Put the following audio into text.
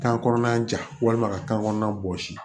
Kan kɔnɔna ja walima ka kan kɔnɔna bɔsi